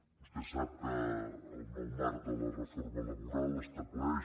vostè sap que el nou marc de la reforma laboral estableix